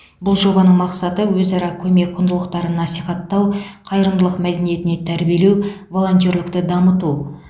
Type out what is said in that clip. бұл жобаның мақсаты өзара көмек құндылықтарын насихаттау қайырымдылық мәдениетіне тәрбиелеу волонтерлікті дамыту